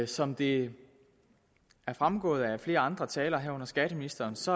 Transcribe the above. som det er fremgået af flere andre taler herunder skatteministerens